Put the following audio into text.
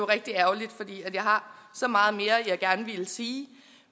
rigtig ærgerligt fordi jeg har så meget mere jeg gerne ville sige